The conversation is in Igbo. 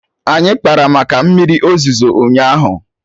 Anyị kpara maka mmiri ozuzo ụnyaahụ